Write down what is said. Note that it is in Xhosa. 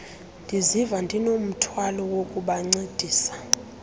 ndiziva ndinomthwalo wokubancedisa